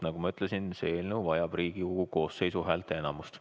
Nagu ma ütlesin, see eelnõu vajab Riigikogu koosseisu häälteenamust.